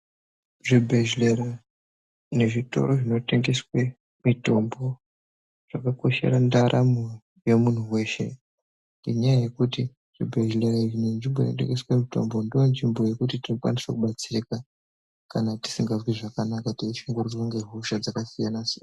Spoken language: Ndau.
Zvibhehlera nezvitoro zvinotengeswe mitombo zvakakoshera ndaramo yemunhu weshe ngenyaya yekuti zvibhehleya izvi nezvitoro zvinotengeswe mitombo ndoonzvimbo yekuti tinokwanisa kubatsirika kana tisikazwi zvakanaka, teishungurudzwa ngehosha dzakasiya-nasiyana.